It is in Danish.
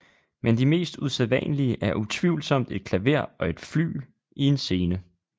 Men de mest usædvanlige er utvivlsomt et klaver og et flygel i en scene